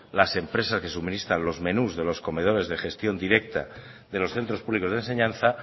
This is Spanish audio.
las empresas que suministran los menús de los comedores de gestión directa de los centros públicos de enseñanza